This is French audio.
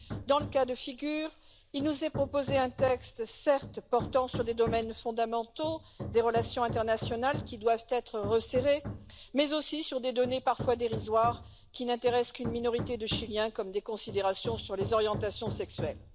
Dans ce cas de figure, il nous est proposé un texte portant certes sur des domaines fondamentaux, des relations internationales qui doivent être resserrées, mais aussi sur des données parfois dérisoires qui n'intéressent qu'une minorité de Chiliens, comme des considérations sur les orientations sexuelles.